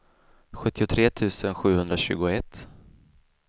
sjuttiotre tusen sjuhundratjugoett